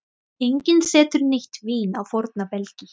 Enginn setur nýtt vín á forna belgi.